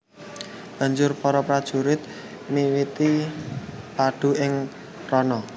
Banjur para prajurit miwiti padu ing rana